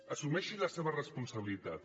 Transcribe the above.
assumeixi la seva responsabilitat